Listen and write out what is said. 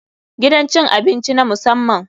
Gidan cin abinci na musamman.